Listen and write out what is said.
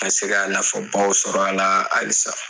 Ka se ka nafabaw sɔrɔ a la halisa